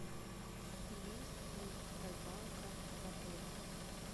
есть ли рыбалка в отеле